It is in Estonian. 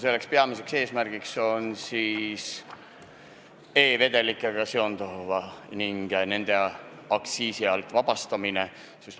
Selle peamine eesmärk seostub tubakavedelikega, nende aktsiisi alt vabastamisega.